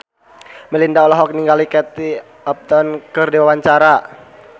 Melinda olohok ningali Kate Upton keur diwawancara